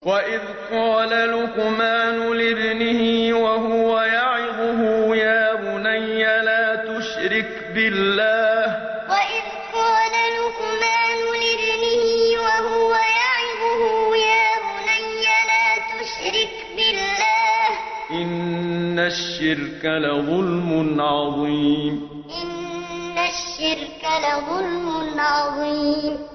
وَإِذْ قَالَ لُقْمَانُ لِابْنِهِ وَهُوَ يَعِظُهُ يَا بُنَيَّ لَا تُشْرِكْ بِاللَّهِ ۖ إِنَّ الشِّرْكَ لَظُلْمٌ عَظِيمٌ وَإِذْ قَالَ لُقْمَانُ لِابْنِهِ وَهُوَ يَعِظُهُ يَا بُنَيَّ لَا تُشْرِكْ بِاللَّهِ ۖ إِنَّ الشِّرْكَ لَظُلْمٌ عَظِيمٌ